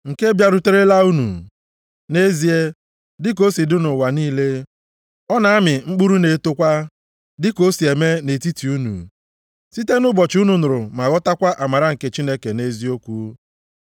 nke bịaruterela unu. Nʼezie, dị ka o si dị nʼụwa niile, ọ na-amị mkpụrụ na-etokwa, dị ka o si eme nʼetiti unu, site nʼụbọchị unu nụrụ ma ghọtakwa amara nke Chineke nʼeziokwu.